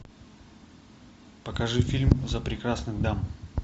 покажи фильм за прекрасных дам